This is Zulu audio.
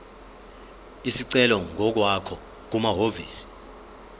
isicelo ngokwakho kumahhovisi